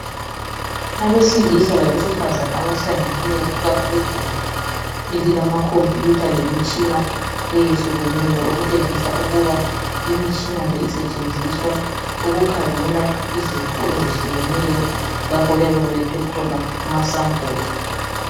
Abesilisa labesifazana abahlangeneyo phakathi kwegumbi elilamakhomphuyutha lemitshina eyehlukeneyo okutshengisa ukuba imitshina le isetshenziswa ukukhangela izifo ezehlukeneyo lapho kuyabe kulethwe khona amasampuli.